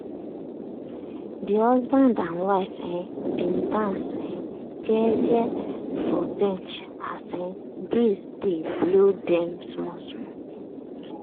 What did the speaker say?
de husband and wife um bin dance um jeje for beach as um breeze dey blow dem small small.